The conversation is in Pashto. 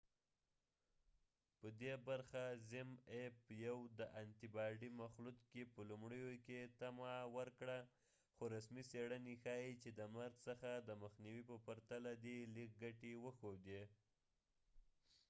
یو د انتي باډي مخلوط zmapp په دې برخه کې په لومړیو کې طمع ورکړه خو رسمي څیړنې ښايي چې د مرګ څخه د مخنیوي په پرتله دې لږې ګټې وښودې